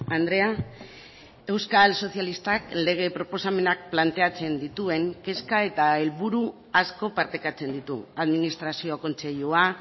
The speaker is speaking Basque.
andrea euskal sozialistak lege proposamenak planteatzen dituen kezka eta helburu asko partekatzen ditu administrazio kontseilua